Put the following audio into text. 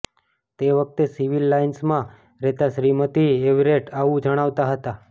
તે વખતે સિવિલ લાઇન્સમાં રહેતાં શ્રીમતી એવરેટ આવું જણાવતાં હતાં